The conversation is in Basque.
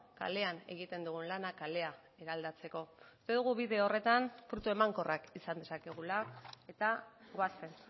kalean egiten dugu lana kalea eraldatzeko uste dugu bide horretan fruitu emankorrak izan ditzakegula eta goazen